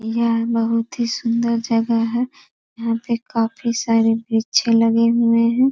यह बहुत ही सुंदर जगह है यहां पे काफी सारे वृक्षे लगे हुए हैं।